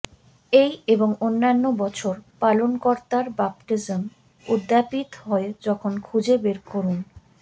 এই এবং অন্যান্য বছর পালনকর্তার বাপ্তিস্ম উদ্যাপিত হয় যখন খুঁজে বের করুন